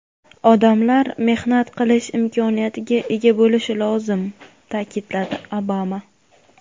Odamlar mehnat qilish imkoniyatiga ega bo‘lishi lozim”, ta’kidladi Obama.